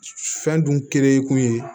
Fɛn dun kere kun ye